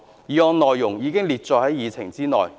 議案內容已載列於議程內。